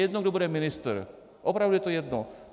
Jedno, kdo bude ministr, opravdu to je jedno.